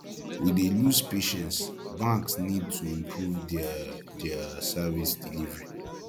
we dey lose patience banks need to improve diir diir service delivery